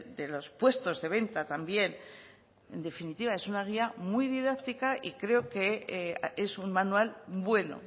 de los puestos de venta también en definitiva es una guía muy didáctica y creo que es un manual bueno